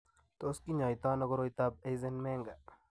Tos kinyaita ano koroitoab Eisenmenger?